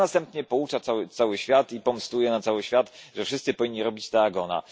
A następnie poucza cały świat i pomstuje na cały świat, że wszyscy powinni robić tak, jak ona.